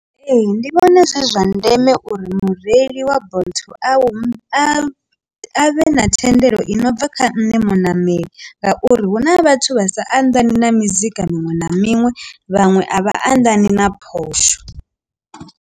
Ee, ndi vhona zwi zwa ndeme uri mureili wa bolt a a a vhe na thendelo i no bva kha nṋe munameli ngauri hu na vhathu vha sa anḓani na mizika miṅwe na miṅwe vhaṅwe a vha anḓani na phosho.